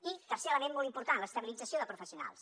i tercer element molt important l’estabilització de professionals